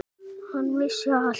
Hann vissi allt.